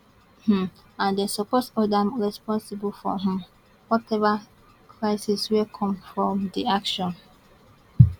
um and dem suppose hold am responsible for um whatever crisis wey come from di action